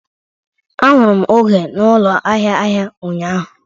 Ahụrụ m Oge na ụlọ ahịa ahịa ụnyaahụ.